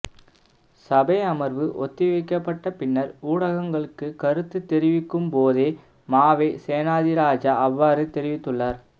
சபை அமர்வு ஒத்திவைக்கப்பட்ட பின்னர் ஊடகங்களுக்கு கருத்தது தெரிவிக்கும் போதே மாவை சேனாதிராஜா அவ்வாறு தெரிவித்துள்ளார்